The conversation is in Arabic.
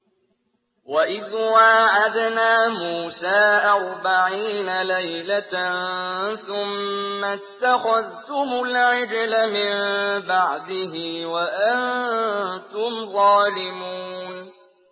وَإِذْ وَاعَدْنَا مُوسَىٰ أَرْبَعِينَ لَيْلَةً ثُمَّ اتَّخَذْتُمُ الْعِجْلَ مِن بَعْدِهِ وَأَنتُمْ ظَالِمُونَ